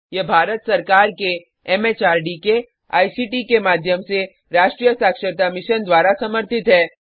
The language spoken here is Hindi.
यह भारत सरकार के एमएचआरडी के आईसीटी के माध्यम से राष्ट्रीय साक्षरता मिशन द्वारा समर्थित है